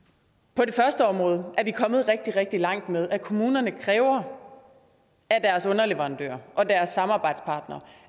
på det første område er vi kommet rigtig rigtig langt med at kommunerne kræver af deres underleverandører og deres samarbejdspartnere